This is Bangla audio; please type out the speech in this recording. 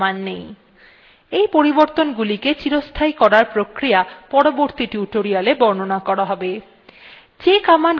এই পরিবর্তনগুলিকে চিরস্থায়ী করার প্রক্রিয়া পরবর্তী tutorialwe বর্ণনা করা হবে